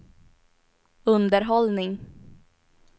underhållning